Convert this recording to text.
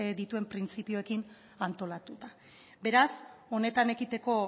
dituen printzipioekin antolatuta beraz honetan ekiteko